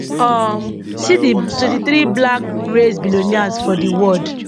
um see di 23 black race billionaires for di world